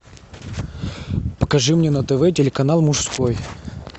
покажи мне на тв телеканал мужской